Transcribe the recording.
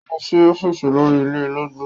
Ó lọ sí ọ́fíìsì olórí ilé ológbò.